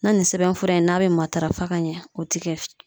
Na nin sɛbɛnfura in n'a bɛ matarafa ka ɲɛ o tɛ kɛ